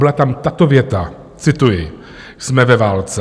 Byla tam tato věta - cituji: "Jsme ve válce.